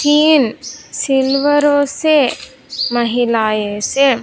तीन सिलवरो से महिलाए से--